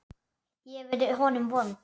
Ég hef verið honum vond.